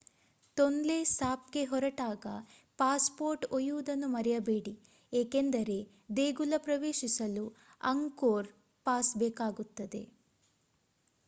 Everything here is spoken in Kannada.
ತೊನ್ಲೆ ಸಾಪ್ಗೆ ಹೊರಟಾಗ ಪಾಸ್ ಪೋರ್ಟ್ ಒಯ್ಯುವುದನ್ನು ಮರೆಯಬೇಡಿ ಏಕೆಂದರೆ ದೇಗುಲ ಪ್ರವೇಶಿಸಲು ಅಂಗ್ಕೋರ್ ಪಾಸ್ ಬೇಕಾಗುತ್ತದೆ